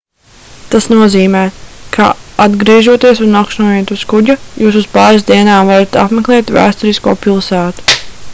tas nozīmē ka atgriežoties un nakšņojot uz kuģa jūs uz pāris dienām varat apmeklēt vēsturisko pilsētu